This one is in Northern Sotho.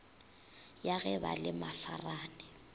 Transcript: ya ge ba le mafarane